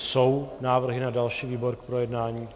Jsou návrhy na další výbor k projednání?